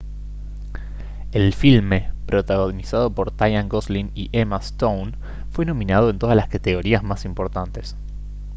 el filme protagonizado por tyan gosling y emma stone fue nominado en todas las categorías más importantes